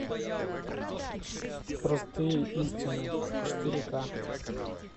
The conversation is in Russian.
простые истины четыре ка